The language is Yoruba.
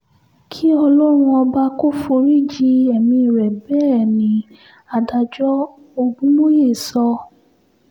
kí ọlọ́run ọba kò forí ji ẹ̀mí rẹ̀ bẹ́ẹ̀ ni adájọ́ ogúnmóye sọ